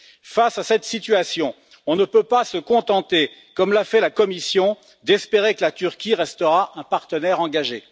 Face à cette situation, on ne peut pas se contenter, comme l'a fait la Commission, d'espérer que la Turquie restera un partenaire engagé.